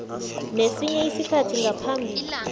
nesinye isikhathi ngaphambi